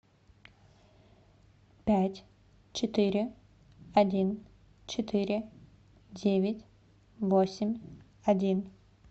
пять четыре один четыре девять восемь один